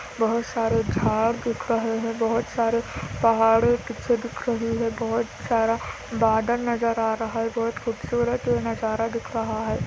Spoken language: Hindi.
बहुत सारे झाड़ दिख रहे है बहुत सारे पहाड़े पीछे दिख रही है बहुत सारा बादल नज़र आ रहा है बहुत खूबसूरत नज़ारा दिख रहा है।